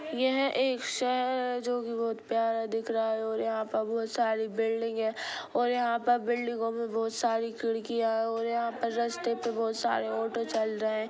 यह एक शहर है जो की बहुत प्यार दिख रहा है| और यह पे बहुत सारी बिल्डिंग है और यह पर बिल्डिंगों पर बहुत सारी खिड़किया है| और यह पर रास्ते पे बहुत सारे ऑटो चल रहै है।